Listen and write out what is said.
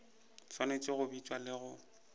swanetše go bitša le go